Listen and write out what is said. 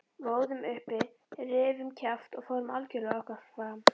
Við óðum uppi, rifum kjaft og fórum algjörlega okkar fram.